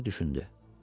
Qoca düşündü.